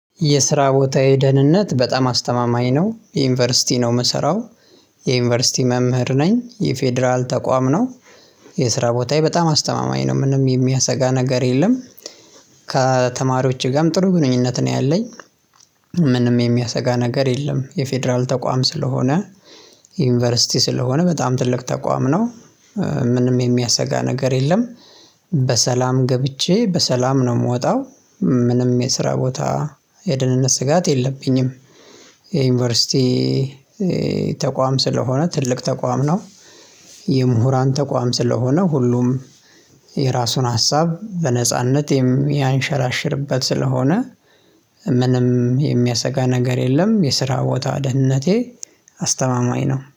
የስራ ቦታዬ ደህንነት በጣም አስተማማኝ ነው የዩኒቨርሲቲ ነው የምሰራው የዩኒቨርሲቲ መምህር ነኝ የፌደራል ተቋም ነው። የስራ ቦታዬ በጣም አስተማማኝ ነው ምንም የሚያሰጋ ነገር የለም። ጋርም ጥሩ ግንኙነት ነው ያለኝ። ምንም የሚያሰጋ ነገር የለም የፌደራል ተቋም ስለሆነ ዩኒቨርሲቲ ስለሆነ በጣም ትልቅ ተቋም ነው። ምንም የሚያሰጋ ነገር የለም። በሰላም ገብቼ በሰላም ነው የምወጣው ምንም የስራ ቦታ የደህንነት ስጋት የለብኝም። የዩኒቨርሲቲ ተቋም ስለሆነ ትልቅ ተቋም ነው። የምሁራን ተቋም ስለሆነ ሁሉም የራሱን ሀሳብ በነጻነት ያንሸራሽርበት ስለሆነ ምንም የሚያሰጋ ነገር የለም። የስራ ቦታ ደህንነቴ አስተማማኝ ነው